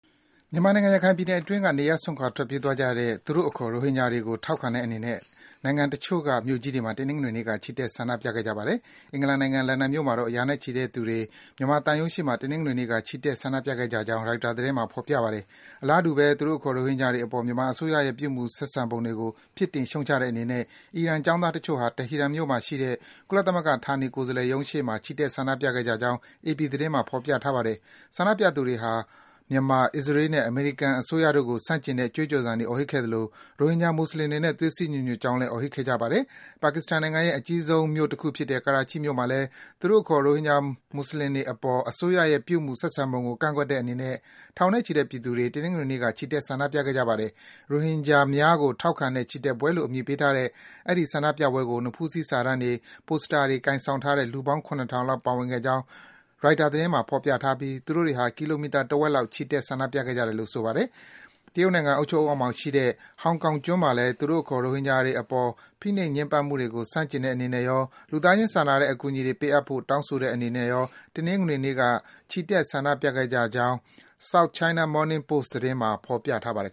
မြန်မာနိုင်ငံ၊ ရခိုင်ပြည်နယ်အတွင်းက နေရပ်စွန့်ခွာ ထွက်ပြေးသွားကြတဲ့ သူတို့အခေါ် ရိုဟင်ဂျာတွေကို ထောက်ခံတဲ့အနေနဲ့ နိုင်ငံတချို့က မြို့ကြီးတွေမှာ တနင်္ဂနွေနေ့က ချီတက် ဆန္ဒပြခဲ့ကြပါတယ်။ အင်္ဂလန်နိုင်ငံ၊ လန်ဒန်မြို့မှာတော့ ရာနဲ့ချီတဲ့သူတွေ မြန်မာသံရုံးရှေ့မှာ တနင်္ဂနွေနေ့က ချီတက် ဆန္ဒပြခဲ့ကြကြောင်း ရိုက်တာ သတင်းမှာ ဖော်ပြထားပါတယ်။ အလားတူပဲ သူတို့အခေါ် ရိုဟင်ဂျာတွေအပေါ် မြန်မာအစိုးရရဲ့ ပြုမူဆက်ဆံပုံတွေကို ပြစ်တင် ရှုတ်ချတဲ့အနေနဲ့ အီရန် ကျောင်းသားတချို့ဟာ တီဟီရန်မြို့မှာရှိတဲ့ ကုလသမဂ္ဂ ဌာနေကိုယ်စားလှယ်ရုံးရှေ့မှာ ချီတက် ဆန္ဒပြခဲ့ကြကြောင်း အေပီ သတင်းမှာ ဖော်ပြထားပါတယ်။ ဆန္ဒပြသူတွေဟာ မြန်မာ၊ အစ္စရေးနဲ့ အမေရိကန် အစိုးရတို့ကို ဆန့်ကျင်တဲ့ ကြွေးကြော်သံတွေ အော်ဟစ်ခဲ့ကြသလို၊ ရိုဟင်ဂျာ မွတ်ဆလင်တွေနဲ့ သွေးစည်း ညီညွတ်ကြောင်းလည်း အော်ဟစ်ခဲ့ကြပါတယ်။ ပါကစ္စတန်နိုင်ငံရဲ့ အကြီးဆုံး မြို့တခုဖြစ်တဲ့ ကရာချိမြို့မှာလည်း သူတို့အခေါ် ရိုဟင်ဂျာ မွတ်ဆလင်တွေအပေါ် မြန်မာအစိုးရရဲ့ ပြုမူ ဆက်ဆံပုံကို ကန့်ကွက်တဲ့အနေနဲ့ ထောင်နဲ့ချီတဲ့ ပြည်သူတွေ တနင်္ဂနွေနေ့က ချီတက် ဆန္ဒပြခဲ့ကြပါတယ်။ ရိုဟင်ဂျာများကို ထောက်ခံတဲ့ ချီတက်ပွဲလို့ အမည်ပေးထားတဲ့ အဲဒီ ဆန္ဒပြပွဲကို နဖူးစည်း စာတန်းတွေ၊ ပိုစတာတွေ ကိုင်ဆောင်ထားတဲ့ လူပေါင်း ၇ ထောင်လောက် ပါဝင်ခဲ့ကြောင်း ရိုက်တာ သတင်းမှာ ဖော်ပြထားပြီး သူတို့တွေဟာ ကီလိုမီတာ တဝက်လောက် ချီတက် ဆန္ဒပြခဲ့ကြတာလို့ ဆိုပါတယ်။ တရုတ်နိုင်ငံ အုပ်ချုပ်မှုအောက်မှာရှိတဲ့ ဟောင်ကောင်ကျွန်းမှာလည်း သူတို့အခေါ် ရိုဟင်ဂျာတွေအပေါ် ဖိနှိပ် ညှဉ်းပန်းမှုတွေကို ဆန့်ကျင်တဲ့အနေနဲ့ရော၊ လူသားချင်း စာနာတဲ့ အကူအညီတွေ ပေးအပ်ဖို့ တောင်းဆိုတဲ့အနေနဲ့ရော တနင်္ဂနွေနေ့က ချီတက် ဆန္ဒပြခဲ့တဲ့ အကြောင်း South China Morning Post သတင်းမှာ ဖော်ပြထားပါတယ်